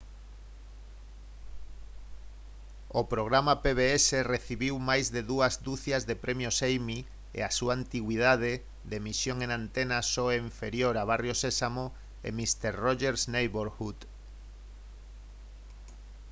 o programa pbs recibiu máis de dúas ducias de premios emmy e a súa antigüidade de emisión en antena só é inferior a barrio sésamo e mister rogers' neighborhood